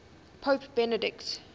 pope benedict